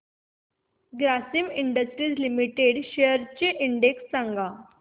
Grasim industries limited shares चा index सांगा